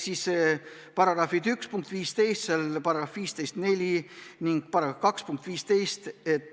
Need on § 1 punkt 15, § 154 ning § 2 punkt 15.